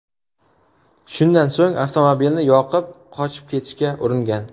Shundan so‘ng avtomobilni yoqib, qochib ketishga uringan.